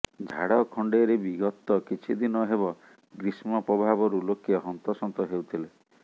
ଝାଡ଼ଖଣ୍ଡରେ ବି ଗତ କିଛି ଦିନ ହେବ ଗ୍ରୀଷ୍ମ ପ୍ରଭାବରୁ ଲୋକେ ହନ୍ତସନ୍ତ ହେଉଥିଲେ